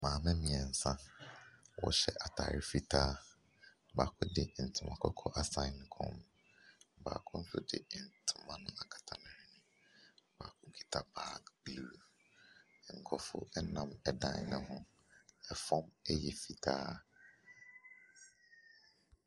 Maame mmiɛnsa ɔhyɛ ataade fitaa, baako de ntoma kɔkɔɔ asan ne kɔn mu, baako nso de ntoma no akata ne hwene. Baako kita baage bluu, nkorofo ɛnam ɛdan no ho, ɛfɔm ɛyɛ fitaa.